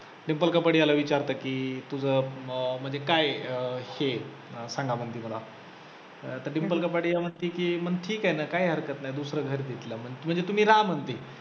डिंपल कपाडियाला विचारते की तुझं अं म्हणजे काय आहे हे अं सांगा म्हणते मला तर डिंपल कपाडिया म्हणते की मग ठिके ना काही हरकत नाही दुसरं घर घे तिला म्हणजे तुम्ही रहा म्हणते.